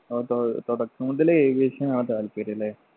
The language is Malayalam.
അപ്പൊ തൊ തുടക്കം മുതലേ aviation ആണ് താല്പര്യം ല്ലേ